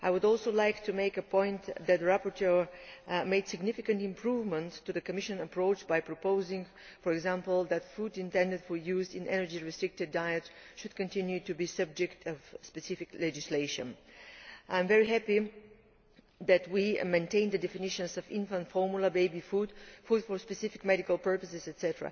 I would also like to make the point that the rapporteur has made significant improvements to the Commission approach by proposing, for example, that food intended for use in energy restricted diets should continue to be subject to specific legislation. I am very happy that we have maintained the definitions of infant formula baby food, food for specific medical purposes, etc.